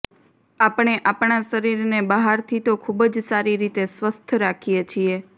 આપણે આપણા શરીરને બહારથી તો ખુબ જ સારી રીતે સ્વસ્થ રાખીએ છીએ